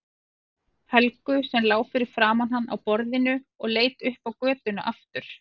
Helgu sem lá fyrir framan hann á borðinu og leit upp á götuna aftur.